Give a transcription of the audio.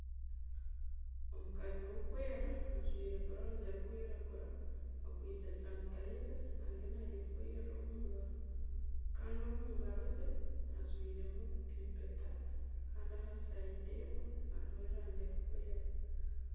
Omukazi w'okwera ajwaire burawuzi erikwiragura akwaitse sanitayiza ariyo naayefuhirira omu ngaro kandi omu ngaro ze ajwairemu empeta Kandi aha rubaju rumwe hariho erangi erikwera